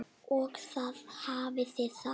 Og þar hafið þið það!